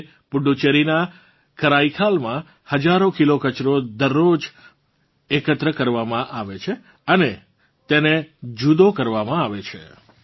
આજે પુડુચેરીનાં કરાઈકલમાં હજારો કિલો કચરો દરરોજ એકત્ર કરવામાં આવે છે અને તેને જુદો કરવામાં આવે છે